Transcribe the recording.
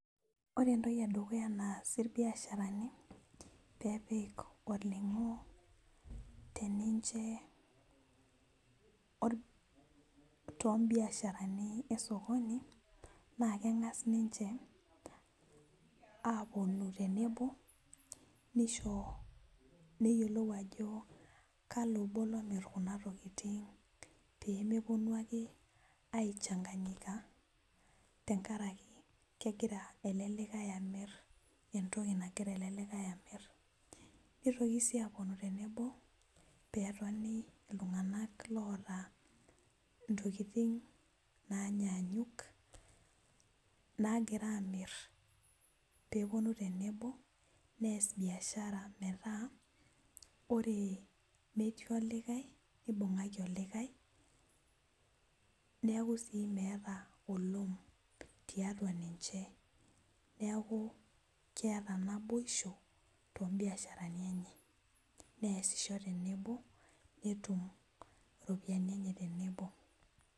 Ore entoki edukuya naas irbiasharani peepik olning'o teninche or tombiasharani esokoni naa keng'as ninche aponu tenebo nisho neyiolou ajo kalo obo lomirr kuna tokiting pemeponu ake aechanganyika tenkaraki kegira ele likae amirr entoki nagira ele likae amirr nitoki sii aponu tenebo petoni iltung'anak loota ntokiting nanyaanyuk nagira amirr peponu tenebo nees biashara metaa ore metii olikae nibung'aki olikae neku sii meeta.